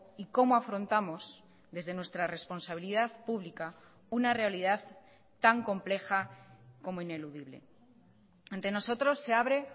y cómo afrontamos desde nuestra responsabilidad pública una realidad tan compleja como ineludible ante nosotros se abre